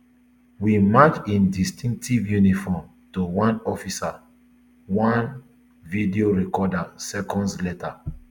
we match im distinctive uniform to one officer for one video recorded seconds later